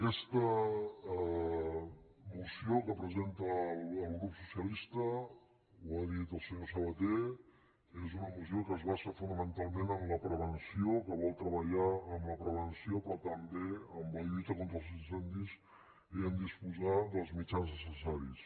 aquesta moció que presenta el grup socialista ho ha dit el senyor sabaté és una moció que es basa fo·namentalment en la prevenció que vol treballar en la prevenció però també en la lluita contra els incendis i a disposar dels mitjans necessaris